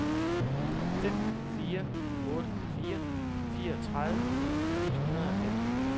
fem fire otte fire fireogtredive et hundrede og fem